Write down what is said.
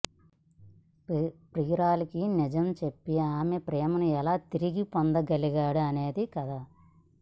ప్రియురాలికి నిజం చెప్పి ఆమె ప్రేమను ఎలా తిరిగి పొందగలిగాడు అనేది కథ